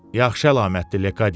Yaxşı əlamətdir, Lekadiye.